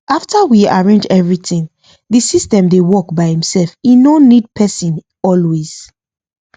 after we arrange everything the system dey work by imself e no need person always